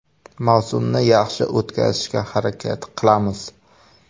Mavsumni yaxshi o‘tkazishga harakat qilamiz.